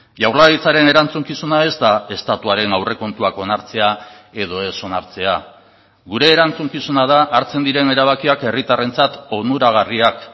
jaurlaritzaren erantzukizuna ez da estatuaren aurrekontuak onartzea edo ez onartzea gure erantzukizuna da hartzen diren erabakiak herritarrentzat onuragarriak